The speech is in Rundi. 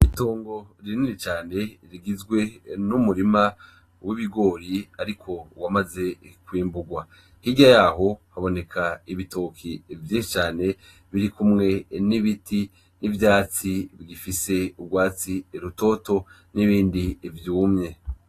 Itongo rinini cane rigizwe n’umurima w’ibigori ariko wamaze kwimburwa. Hirya yaho haboneka ibitoke vyinshi cane biri kumwe n’ibiti n’ivyatsi bigifise urwatsi rutoto n’ibindi vyumye.